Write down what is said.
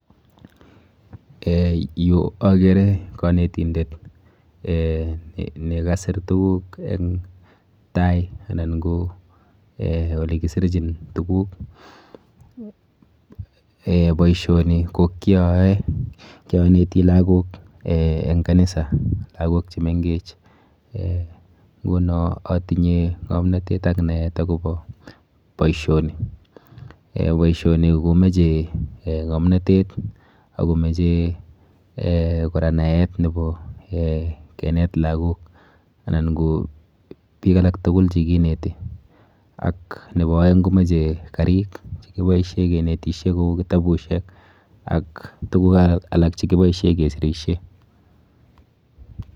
um Yu akere kanetindet um ne kasir tukuk eng tai anan ko um ole kisirchin tukuk, um boisioni ko kyooe, kyaneti lagok eng kanisa, lagok che mengech, um nguno atinye ngomnotet ak naet akobo boisioni. um Boisioni komoche um ngomnotet ako moche um kora naet nebo um kenet lagok anan ko piik alak tugul che keneti, ak nebo aeng komoche karik che kiboisie kenetisie kou kitabusiek ak tukuk alak che kiboisie kesirisie.